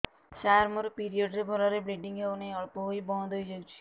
ସାର ମୋର ପିରିଅଡ଼ ରେ ଭଲରେ ବ୍ଲିଡ଼ିଙ୍ଗ ହଉନାହିଁ ଅଳ୍ପ ହୋଇ ବନ୍ଦ ହୋଇଯାଉଛି